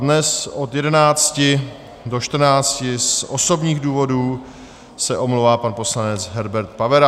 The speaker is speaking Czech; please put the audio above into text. Dnes od 11 do 14 z osobních důvodů se omlouvá pan poslanec Herbert Pavera.